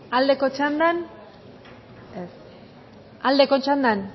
aldeko txandan ez aldeko txandan